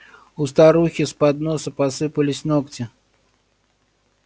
у старухи с подноса посыпались ногти